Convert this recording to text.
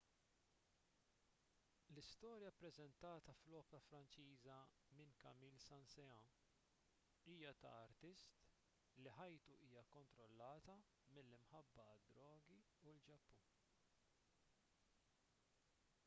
l-istorja ppreżentata fl-opra franċiża minn camille saint-saens hija ta' artist li ħajtu hija kkontrollata mill-imħabba għad-drogi u l-ġappun